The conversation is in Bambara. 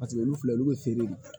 Paseke olu filɛ olu bɛ feere